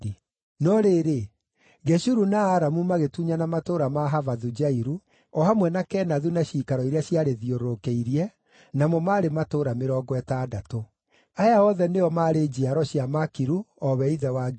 (No rĩrĩ, Geshuru na Aramu magĩtunyana matũũra ma Havothu-Jairu, o hamwe na Kenathu na ciikaro iria ciarĩthiũrũrũkĩirie, namo maarĩ matũũra mĩrongo ĩtandatũ.) Aya othe nĩo maarĩ njiaro cia Makiru, o we ithe wa Gileadi.